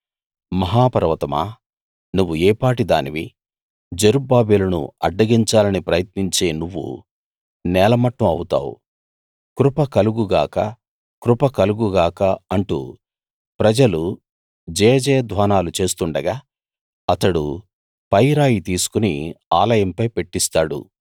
మహా పర్వతమా నువ్వు ఏపాటి దానివి జెరుబ్బాబెలును అడ్డగించాలని ప్రయత్నించే నువ్వు నేలమట్టం అవుతావు కృప కలుగు గాక కృప కలుగు గాక అంటూ ప్రజలు జయజయధ్వానాలు చేస్తూ ఉండగా అతడు పై రాయి తీసుకుని ఆలయంపై పెట్టిస్తాడు